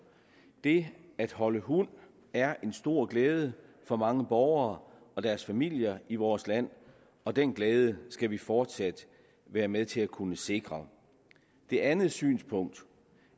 det at holde hund er en stor glæde for mange borgere og deres familier i vores land og den glæde skal vi fortsat være med til at kunne sikre det andet synspunkt